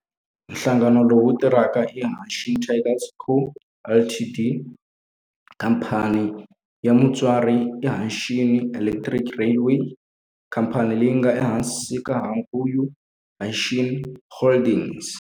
Nhlangano lowu tirhaka i Hanshin Tigers Co., Ltd. Khamphani ya mutswari i Hanshin Electric Railway, khamphani leyi nga ehansi ka Hankyu Hanshin Holdings.